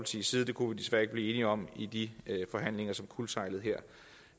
side det kunne vi desværre ikke blive enige om i de forhandlinger som kuldsejlede her